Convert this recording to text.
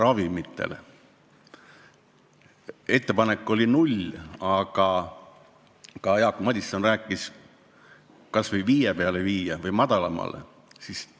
Ette pandud määr on null, aga Jaak Madison ütles, et võiks selle viia vähemalt 5% peale või siis madalamale.